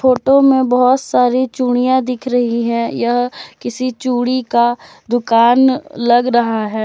Photo में बहुत सारी चूड़ियां दिख रही है यह किसी चूड़ी का दुकान लग रहा है।